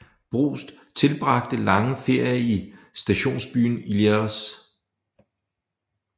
Proust tilbragte lange ferier i stationsbyen Illiers